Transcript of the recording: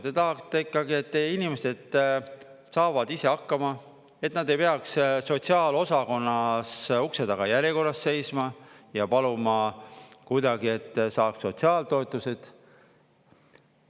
Te tahate ikkagi, et teie inimesed saavad ise hakkama, et nad ei peaks sotsiaalosakonnas ukse taga järjekorras seisma ja paluma kuidagi, et saaks sotsiaaltoetuseid.